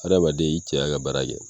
Adamaden i cɛya ka baara kɛ